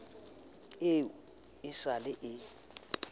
eo e sa le e